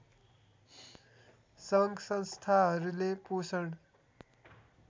सङ्घ संस्थाहरूले पोषण